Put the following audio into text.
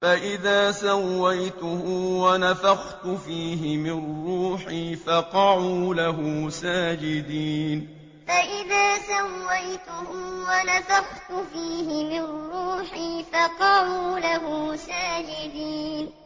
فَإِذَا سَوَّيْتُهُ وَنَفَخْتُ فِيهِ مِن رُّوحِي فَقَعُوا لَهُ سَاجِدِينَ فَإِذَا سَوَّيْتُهُ وَنَفَخْتُ فِيهِ مِن رُّوحِي فَقَعُوا لَهُ سَاجِدِينَ